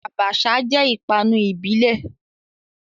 Abacha jẹ́ ìpanu ìbílẹ̀.